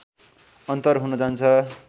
अन्तर हुन जान्छ